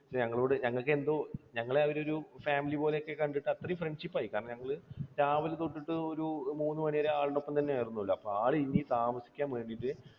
ഞങ്ങളോട് ഞങ്ങൾക്ക് എന്തോ ഞങ്ങളെ അവരൊരു family പോലെയൊക്കെ കണ്ടിട്ട്, അത്രയും friendship ആയി, കാരണം ഞങ്ങൾ രാവിലെ തൊട്ട് ഒരു ഒരു മൂന്നുമണിവരെ ആളുടെയൊപ്പം തന്നെയായിരുന്നല്ലോ. അപ്പോൾ ആ ഒരു, ആൾ ഇനി താമസിക്കാൻ വേണ്ടിയിട്ട്